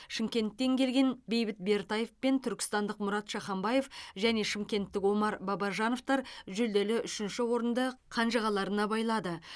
шымкенттен келген бейбіт бертаев пен түркістандық мұрат шаханбаев және шымкенттік омар бабажановтар жүлделі үшінші орынды қанжығаларына байлады